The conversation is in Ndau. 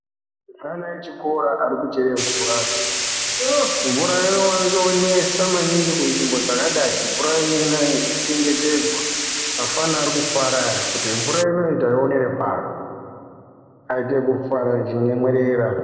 Ana echikora ari kuchere mvura mvura ino wanze nesa maningi ku nzvimbo dzakadai mvura inonaya ino chengetedzwa afana ari kufara aya kuti mvura inoyi tayi onere pano aite kufara echi nyemwerera.